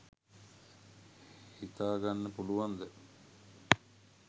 හිතා ගන්න පුළුවන්ද?